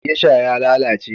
Gesha ya lalace